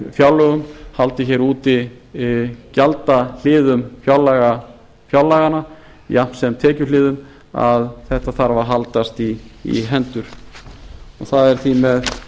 fjárlögum haldið hér úti gjaldahliðum fjárlaganna jafnt sem tekjuhliðum að þetta þarf að haldast í hendur það er því með